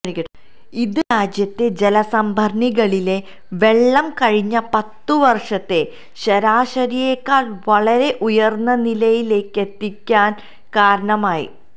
ഇത് രാജ്യത്തെ ജലസംഭരണികളിലെ വെള്ളം കഴിഞ്ഞ പത്തുവര്ഷത്തെ ശരാശരിയേക്കാള് വളരെ ഉയര്ന്ന നിലയിലേക്കെത്തിക്കാന് കാരണമായി